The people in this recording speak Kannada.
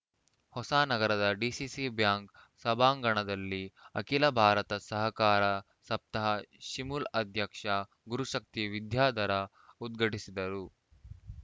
ಹೊಸಾನಗರದ ಡಿಸಿಸಿ ಬ್ಯಾಂಕ್‌ ಸಭಾಂಗಣದಲ್ಲಿ ಅಖಿಲ ಭಾರತ ಸಹಕಾರ ಸಪ್ತಾಹ ಶಿಮೂಲ್‌ ಅಧ್ಯಕ್ಷ ಗುರುಶಕ್ತಿ ವಿದ್ಯಾಧರ ಉದ್ಘಾಟಿಸಿದರು